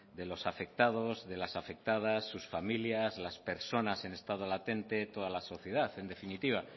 de los afectados de las afectadas sus familias las personas en estado latente toda la sociedad en definitiva